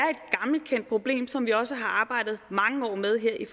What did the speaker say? et gammelkendt problem som vi også har arbejdet med i